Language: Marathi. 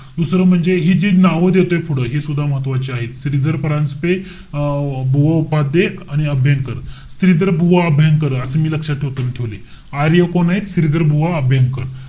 दुसरं म्हणजे, हि जी नावं देतोय, हि सुद्धा महत्वाची आहे. श्रीधर परांजपे अं उपाध्ये आणि अभ्यंकर. श्रीधर बुवा अभ्यंकर, असं मी लक्षात ठेवतोय. मी ठेवलय. आर्य कोण आहेत? श्रीधर बुवा अभ्यंकर.